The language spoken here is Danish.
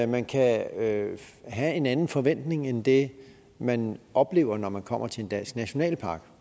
man kan have have en anden forventning end det man oplever når man kommer til en dansk nationalpark